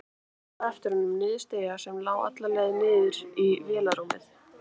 Hún trítlaði á eftir honum niður stiga sem lá alla leið niður í vélarrúmið.